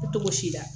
Togo si la